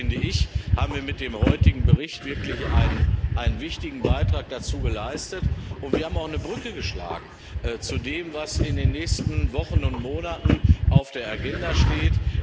Von daher, finde ich, haben wir mit dem heutigen Bericht wirklich einen wichtigen Beitrag dazu geleistet und wir haben auch eine Brücke geschlagen zu dem, was in den nächsten Wochen und Monaten auf der Agenda steht.